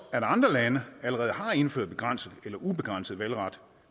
at andre lande allerede har indført begrænset eller ubegrænset valgret